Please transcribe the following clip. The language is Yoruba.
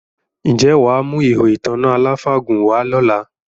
Ǹjẹ́ wà á mú “ihò ìtanná aláfàgùn” wá lọ́la?